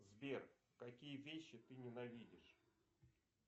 сбер какие вещи ты ненавидишь